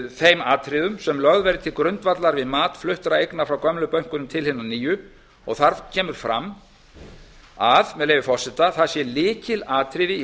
þeim atriðum sem lögð væru til grundvallar við mat fluttra eigna frá gömlu bönkunum til hinna og nýju og þar kemur að með leyfi forseta það sé lykilatriði í